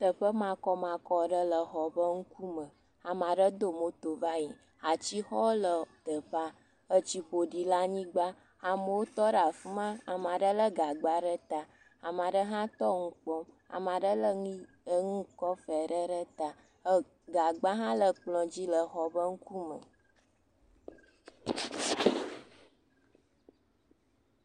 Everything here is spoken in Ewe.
Teƒe makɔmakɔ aɖe le xɔ ƒe ŋkume. Ame aɖe do moto va yi. Atsi ɖewo le teƒea. Etsi ƒoɖi le anyigba. Ama ɖewo tɔ ɖe afi ma. Ama ɖewo lé gagba ɖe ta. Ama ɖe hã tɔ nu kpɔm. Ama ɖe lé enu enu tɔxɛ ɖe ɖe ta. ɛɛ Gagba ɖe hã le kplɔ̃ dzi lee xɔ ƒe ŋkume.